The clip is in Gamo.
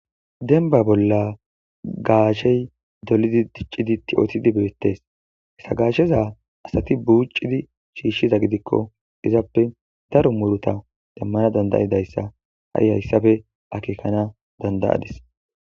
Denba bolla gaashey dolidi diccidi ti'otidi beettes hesagaasheza asati buucidi shiishshiza gidikko izappe daro muruta demmana dandayidayssa ha'i hayssafe akeekana dandayadis.